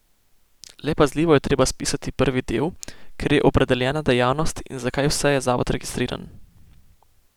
Le pazljivo je treba spisati prvi del, kjer je opredeljena dejavnost in za kaj vse je zavod registriran.